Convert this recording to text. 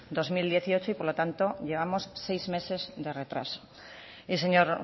dos mil dieciocho y por lo tanto llevamos seis meses de retraso y señor